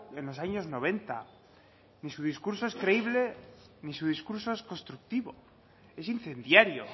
en los años noventa ni su discurso es creíble ni su discurso es constructivo es incendiario